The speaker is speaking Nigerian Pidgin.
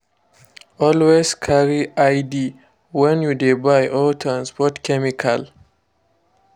always carry id when you dey buy or transport chemical.